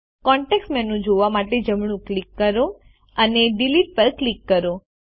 context menu જોવા માટે જમણું ક્લિક કરો અને ડિલીટ પર ક્લિક કરો